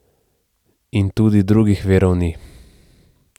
In tudi drugih virov ni.